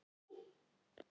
Og hýdd.